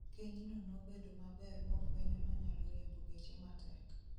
Keny no nobedo maber mofuenyo nonyalo riembo geche matek